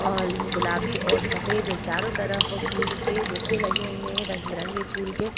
और गुलाबी और सफेद ये चारों तरफ फूल के बुके लगे हुए हैं। रंग-बिरंगे फूलों के --